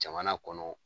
Jamana kɔnɔ